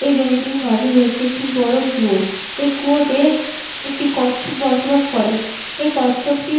এই জমিটির মাঝে রয়েছে একটি বড় কুয়ো । এই কুয়াইতে একটি কচ্ছপ বসবাস করে এই কচ্ছপটি।